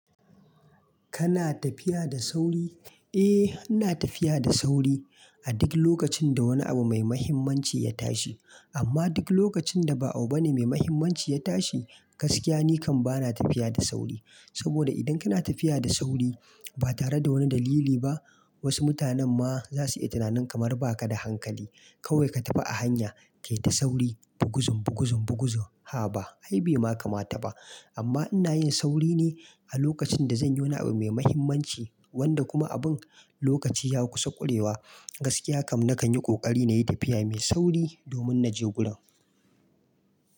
Kana tafiya da sauri? Eh, ina tafiya da sauri a duk lokacin da wani abu mai mahimmanci ya tashi. Amma duk lokacin da ba abu bane mai mahimmanci ya tashi, gaskiya nikan bana tafiya da sauri. Saboda idan kana tafiya da sauri ba tare da wani dalili ba, wasu mutanen ma za su iya tunanin kamar ba ka da hankali. Kawai ka tafi a hanya, kayi ta sauri buguzun buguzun buguzun. Haba ai bai ma kamata ba. Amma ina yin sauri ne a lokacin da zan yi wani abu mai mahimmanci, wanda kuma abun lokaci ya kusa ƙurewa. Gaskiya kam na kan yi ƙoƙari na yi tafiya mai sauri domin na je gurin.